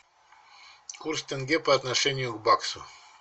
курс тенге по отношению к баксу